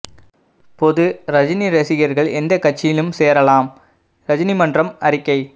பொது ரஜினி ரசிகர்கள் எந்த கட்சியிலும் சேரலாம் ரஜினி மன்றம் அறிக்கை